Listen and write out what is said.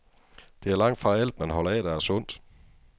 Det er langtfra alt, man holder af, der er sundt.